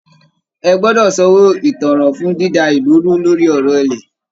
Ẹ gbọ́dọ̀ sanwó ìtanràn fún dída ìlú rú lórí ọ̀rọ̀ ilẹ̀!